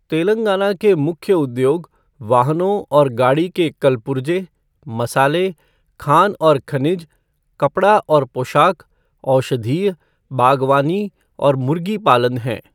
तेलंगाना के मुख्य उद्योग वाहनों और गाड़ी के कलपुर्जे, मसाले, खान और खनिज, कपड़ा और पोशाक, औषधीय, बागवानी और मुर्गी पालन हैं।